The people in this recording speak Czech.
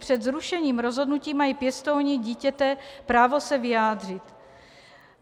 Před zrušením rozhodnutí mají pěstouni dítěte právo se vyjádřit.